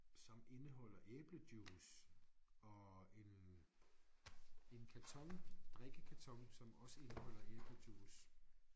Som indeholder æblejuice og en en karton drikkekarton som også indeholder æblejuice